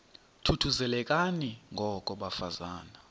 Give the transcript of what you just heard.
thuthuzelekani ngoko bafazana